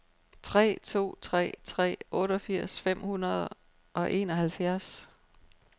tre to tre tre otteogfirs fem hundrede og enoghalvfjerds